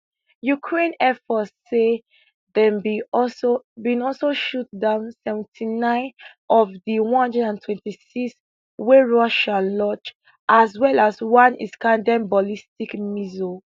ukraine air force say dem bin also bin also shoot down seventy nine of di one hundred six wey russia launch as well as one iskanderm ballistic missile